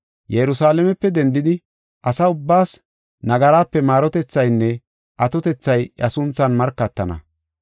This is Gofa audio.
Yerusalaamepe dendidi asaa ubbaas nagaraape maarotethaynne atotethay iya sunthan markatana.